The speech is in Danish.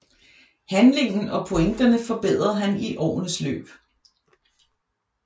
Handlingen og pointerne forbedrede han i årenes løb